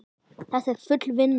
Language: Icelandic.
Þetta er full vinna!